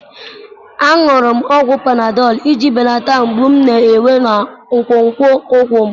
M ṅụrụ ọgwụ panadọlụ iji belata mgbu m na-enwe na nkwonkwo ụkwụ m